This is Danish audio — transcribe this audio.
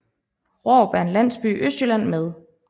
Rårup er en landsby i Østjylland med